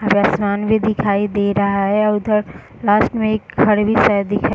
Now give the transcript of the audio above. आगे आसमान भी दिखाई दे रहा है और उधर लास्ट में एक घर भी शायद दिखाई --